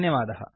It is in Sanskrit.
धन्यवादाः